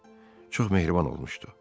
Çox mehriban olmuşdu.